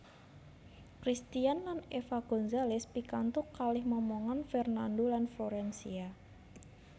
Cristian lan Eva Gonzales pikantuk kalih momongan Fernando lan Florencia